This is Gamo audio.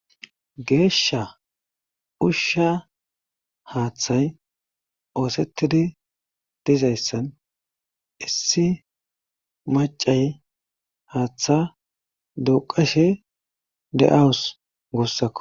geeshsha ushsha haaththay oosettidi dizayssan issi macay haaththa duqashe de7awus guussakko